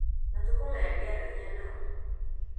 Matukũ maya ndiaragia nao